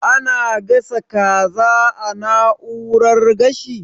Ana gasa kaza a na'urar gashi?